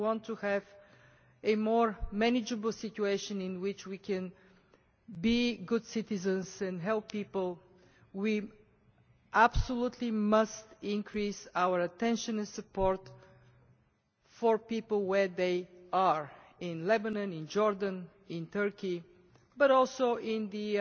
If we want to have a more manageable situation in which we can be good citizens and help people, we absolutely must increase our attention and support for people where they are in Lebanon, Jordan and Turkey, as well as in the